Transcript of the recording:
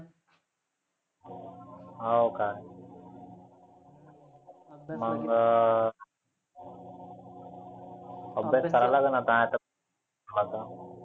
हाव का? मंग अभ्यास करावा लागेल आता आता.